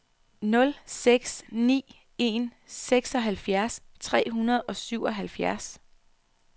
nul seks ni en seksoghalvfjerds tre hundrede og syvoghalvfjerds